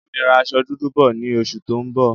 Bámi ra aṣọ dúdú bọ̀ ni oṣù tó ń bọ̀